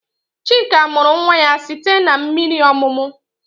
Chika mụrụ nwa ya site n'mmiri ọmụmụ